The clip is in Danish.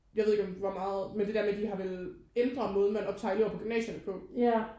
Jeg ved ikke om hvor meget men det der med de har vel ændret måden man optager elever på gymnasierne på